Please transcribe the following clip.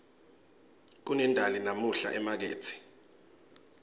kunendali namuhla emakethe